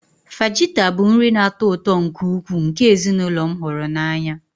Fajita bụ nri na-atọ ụtọ nke ukwuu nke ezinụlọ m hụrụ n'anya